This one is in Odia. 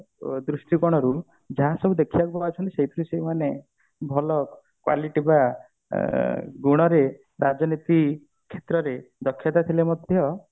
ଅ ଦ୍ରୁଷ୍ଟି କୋଣରୁ ଯାହା ସବୁ ଦେଖିବାକୁ ସେଇଥିରୁ ସେଇମାନେ ଭଲ quality ବା ଅ ଗୁଣରେ ରାଜନୀତି କ୍ଷେତ୍ରରେ ଦକ୍ଷତା ଥିଲେ ମଧ୍ୟ